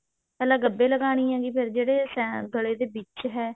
ਪਹਿਲਾ ਗੱਭੇ ਲਗਾਉਣੀ ਹੈ ਫ਼ੇਰ ਜਿਹੜੇ ਸੇਨ ਗਲੇ ਦੇ ਵਿੱਚ ਹੈ